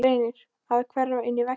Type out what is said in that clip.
Reynir að hverfa inn í vegginn.